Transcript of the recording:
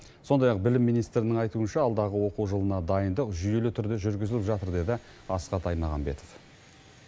сондай ақ білім министрінің айтуынша алдағы оқу жылына дайындық жүйелі түрде жүргізіліп жатыр деді асхат аймағамбетов